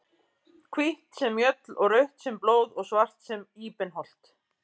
Hvítt sem mjöll og rautt sem blóð og svart sem íbenholt.